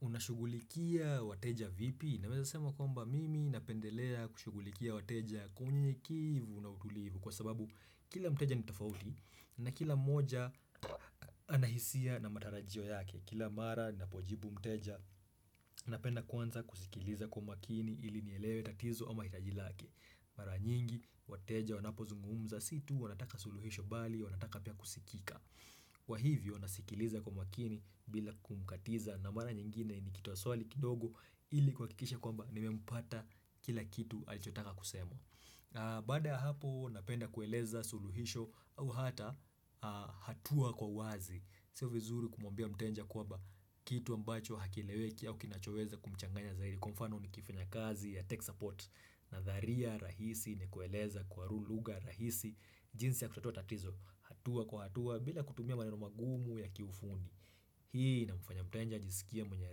Unashugulikia wateja vipi? Naweza sema kwamba mimi napendelea kushugulikia wateja kwamunyenye kevu na utulivu, kwa sababu kila mteja nitafauti na kila mmoja anahisia na matarajio yake. Kila mara napojibu mteja napenda kwanza kusikiliza kwa makini ili nielewe tatizo ama hitaji lake. Mara nyingi wateja wanapozungumza situu wanataka suluhisho bali wanataka pia kusikika. Kwa hivyo nasikiliza kwa makini bila kumkatiza na mara nyingine ni kitoa swali kidogo ili kuhakikisha kwamba nimempata kila kitu alichotaka kusema. Baada ya hapo napenda kueleza suluhisho au hata hatua kwa wazi. Sio vizuri kumwambia mtenja kwaba kitu ambacho hakileweki au kinachoweza kumchanganya zaidi. Kwa mfano ni kifanya kazi ya tech support, na dharia rahisi ni kueleza kwa rulugha rahisi jinsi ya kutatua tatizo hatua kwa hatua bila kutumia maneno magumu ya kifundi hii ina mfanya mtenja ajisikie mwenye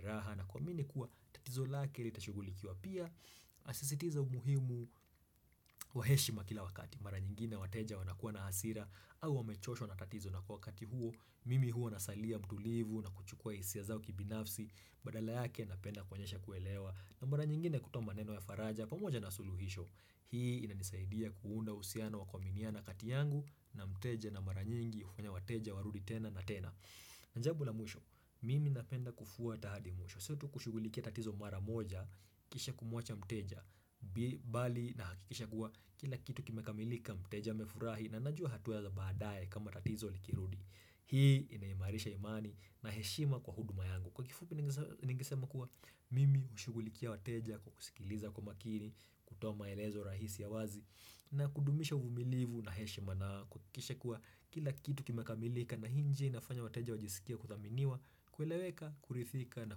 raha na kuamini kuwa tatizo lake litashugulikiwa pia nasisitiza umuhimu waheshima kila wakati mara nyingine wateja wanakuwa na hasira au wamechoshwa na tatizo na kwa wakati huo mimi huo nasalia mtulivu na kuchukua hisia zao kibinafsi. Badala yake napenda kwenyesha kuelewa na mara nyingine kutoa maneno ya faraja pamoja na suluhisho Hii inanisaidia kuunda husiano wa kuaminiana kati yangu na mteja na mara nyingi hufanya wateja warudi tena na tena Njabu la mwisho, mimi napenda kufuata hadi mwisho. Sio tu kushugulikia tatizo mara moja kisha kumwacha mteja, bi bali na hakikisha guwa kila kitu kimekamilika mteja amefurahi na najua hatua za badaye kama tatizo likirudi Hii inaimarisha imani na heshima kwa huduma yangu. Kwa kifupi ningese ningisema kuwa mimi hushugulikia wateja kukusikiliza kwa makini, kutoa maelezo rahisi ya wazi, na kudumisha uvumilivu na heshima na kuhakikisha kuwa kila kitu kimekamilika na hii njia inafanya wateja wajisikie kuthaminiwa, kueleweka, kurithika na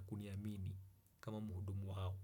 kuniamini kama muhudumu hao.